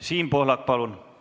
Siim Pohlak, palun!